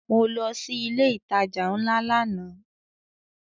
Mo lọ sí ilé ìtajà ńlá lánàá